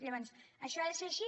llavors això ha de ser així